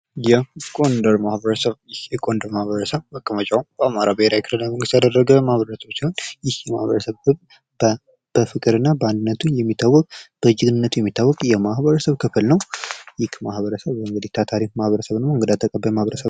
የጎንደር ማህበረሰብ መቀመጫውን በአማራ ብሔራዊ ክልላዊ መንግስት ያደረገ ሲሆን በፍቅርና በአንድነቱ የሚታወቅ በጀግንነቱ የሚታወቅ የማህበረሰብ ክፍል ነው። ይህ ማህበረሰብ እንግዲህ ማህበረሰብ ነው።